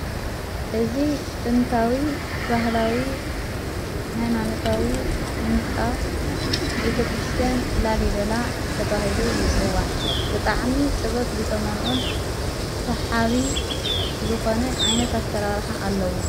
እዝ ጥንታዊ ባህላዊ ሃይማንታዊ ሕንጻ ቤተ ክርስቲያን ላሊበላ ተብሂሉ ይጽዋዕ ብጥዓሚ ጥበብ ዝተመልኦን ሠሓዊ ዝኾነ ዓይነት ኣተራርኀ ኣለዉ።